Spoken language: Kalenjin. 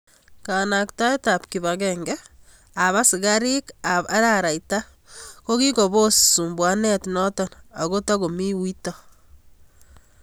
Kanaktaet ab kipagenge ab askarik ab araraita kokikopos sumbuanet notet ako tokomi uito.